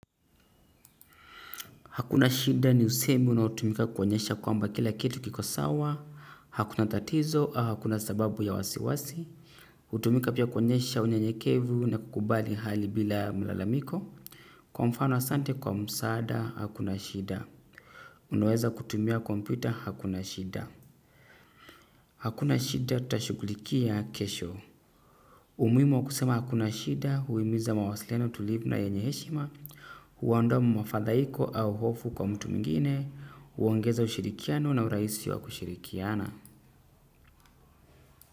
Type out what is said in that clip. Hakuna shida ni usemi unao tumika kuonyesha kwamba kila kitu kiko sawa, hakuna tatizo au hakuna sababu ya wasiwasi, hutumika pia kuonyesha unye nyekevu na kukubali hali bila mlalamiko, kwa mfano asante kwa msada, hakuna shida. Unaweza kutumia kompyuta, hakuna shida. Hakuna shida tashugulikia kesho. Umuhimu wa kusema hakuna shida huhimiza mawasiliano tulivu na yenye heshima, huondoa mmafadhaiko au hofu kwa mtu mwingine, huongeza ushirikiano na urahisi wa kushirikiana.